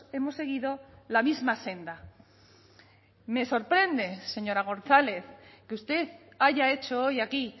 hemos seguido la misma senda me sorprende señora gonzález que usted haya hecho hoy aquí